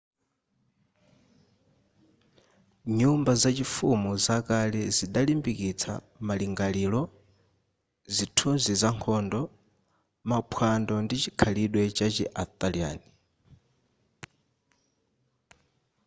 nyumba zachifumu zakale zidalimbikitsa malingaliro zithunzi za nkhondo maphwando ndi chikhalidwe chachi arthurian